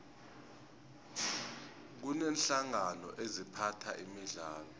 kuneenhlangano eziphatha imidlalo